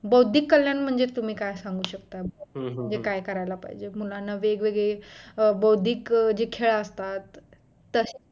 बौद्धिक कल्याण म्हणजे तुम्ही काय सांगू शकता म्हणजे काय करायला पाहिजे मुलांना वेगवेगळे बौद्धिक जे खेळ असतात तशी